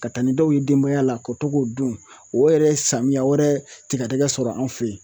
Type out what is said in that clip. Ka taa ni dɔw ye denbaya la ka to k'o don o yɛrɛ ye samiya wɛrɛ tigadɛgɛ sɔrɔ an fɛ yen.